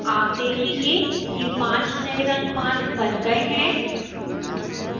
आप देखेंगे कि 5 नए रंग मान बन गए हैं